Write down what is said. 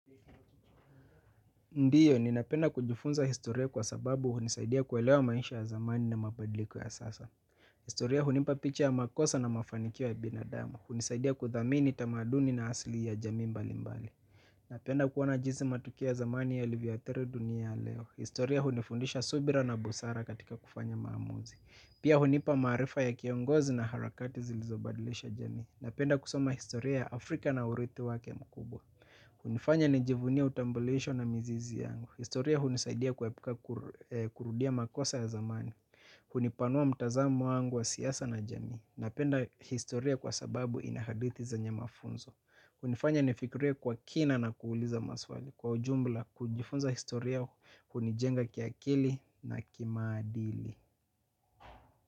Ndiyo, ninapenda kujifunza historia kwa sababu hunisaidia kuelewa maisha ya zamani na mabadiliko ya sasa. Historia hunipa picha ya makosa na mafanikio ya binadamu. Hunisaidia kuthamini tamaduni na asili ya jamii mbali mbali. Napenda kuona jinsi matukio ya zamani yalivyo athiri dunia ya leo. Historia hunifundisha subira na busara katika kufanya maamuzi. Pia hunipa maarifa ya kiongozi na harakati zilizobadilisha jami. Napenda kusoma historia ya Afrika na urithi wake mkubwa. Hunifanya nijivunie utambulisho na mizizi yangu. Historia hunisaidia kuepuka kurudia makosa ya zamani. Hunipanua mtazamo wangu wa siasa na jamii. Napenda historia kwa sababu ina hadithi zenye mafunzo. Hunifanya nifikiria kwa kina na kuuliza maswali. Kwa ujumla kujifunza historia hunijenga kiakili na kimaadili.